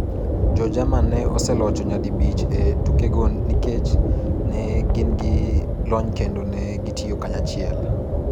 Jo-Jerman ne oselocho nyadibich e tukego nikech ne gin gi lony kendo ne gitiyo kanyachiel.